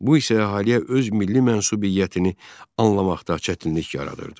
Bu isə hələ öz milli mənsubiyyətini anlamaqda çətinlik yaradırdı.